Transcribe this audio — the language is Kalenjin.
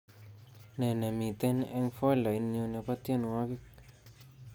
Ne nemiten eng foldainyu nebo tyenwogik